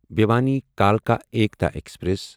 بھیوانی کلکا ایٖکتا ایکسپریس